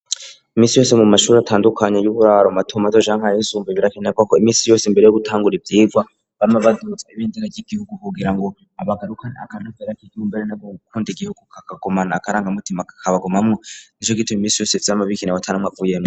iminsi yose mu mashuri atandukanye y'uburaro matomato canke ayisumbuye birakenerwa ko imisi yose mbere yo gutangura ivyirwa bama badutse ibindera ryigihugu kugira ngo abagarukan akantafera k'igibumbere n'abo gukunda igihugu kakagomana akarangamutima kakabagoma mwo nijo gitube iminsi yose vyama bikina watanamw avuyeme